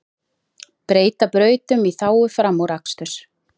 Breyta brautum í þágu framúraksturs